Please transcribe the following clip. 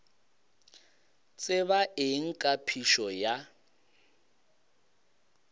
tseba eng ka phišo ya